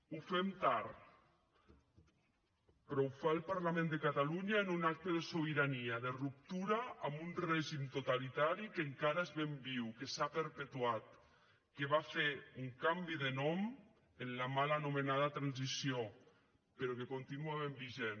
ho fem tard però ho fa el parlament de catalunya en un acte de sobirania de ruptura amb un règim totalitari que encara és ben viu que s’ha perpetuat que va fer un canvi de nom en la mala nomenada transició però que continua ben vigent